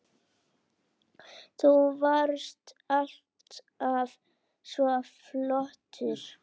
Þú varst alltaf svo flott.